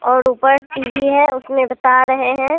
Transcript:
और ऊपर टी_वी है उसमें बता रहे हैं।